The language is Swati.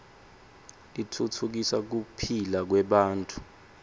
titfutfukisa kuphila kwebantfu